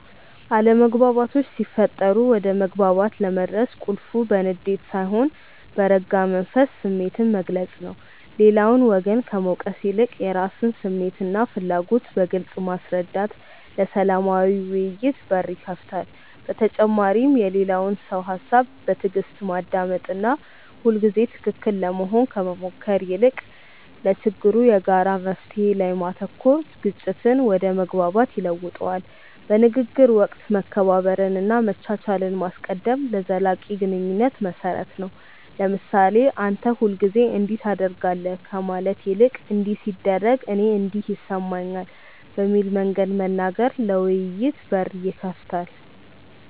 አለመግባባቶች ሲፈጠሩ ወደ መግባባት ለመድረስ ቁልፉ በንዴት ሳይሆን በረጋ መንፈስ ስሜትን መግለጽ ነው። ሌላውን ወገን ከመውቀስ ይልቅ የራስን ስሜትና ፍላጎት በግልጽ ማስረዳት ለሰላማዊ ውይይት በር ይከፍታል። በተጨማሪም የሌላውን ሰው ሃሳብ በትዕግስት ማዳመጥና ሁልጊዜ ትክክል ለመሆን ከመሞከር ይልቅ ለችግሩ የጋራ መፍትሔ ላይ ማተኮር ግጭትን ወደ መግባባት ይለውጠዋል። በንግግር ወቅት መከባበርንና መቻቻልን ማስቀደም ለዘላቂ ግንኙነት መሰረት ነው። ለምሳሌ "አንተ ሁልጊዜ እንዲህ ታደርጋለህ" ከማለት ይልቅ "እንዲህ ሲደረግ እኔ እንዲህ ይሰማኛል" በሚል መንገድ መናገር ለውይይት በር ይከፍታል።